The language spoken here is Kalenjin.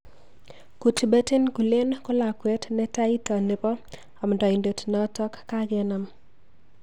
Kutbettin Gulen ko lakwet netaita nebo amndaindet notok kakenam.